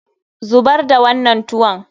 Zubar da wannan tuwon!